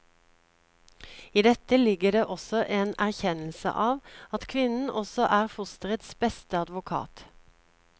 I dette ligger det også en erkjennelse av at kvinnen også er fosterets beste advokat.